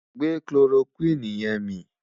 gbè kiloroquine yẹ̀n mí